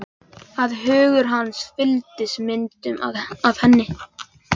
Að hugur hans fylltist myndum af henni.